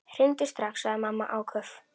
Hringdu strax, sagði mamma áköf.